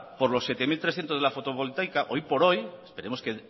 por los siete mil trescientos de la fotovoltaica hoy por hoy esperemos que